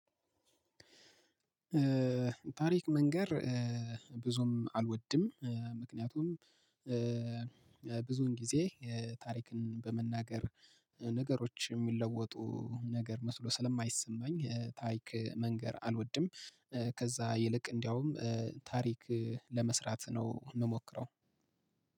ታሪክ መንገር ብዙም አልወድም ምክንያቱም ብዙውን ጊዜ ታሪክን በመናገር ነገሮች ሚለወጡ ነገር መስሎ ስለማይሰማኝ ታሪክ መንገር አልወድም። ከዛ ይልቅ እንዲያውም ታሪክ ለመስራት ነው ምሞክረው።